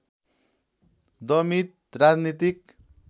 दमित राजनीतिक